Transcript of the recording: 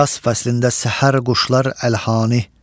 Yas fəslində səhər quşlar əlhani.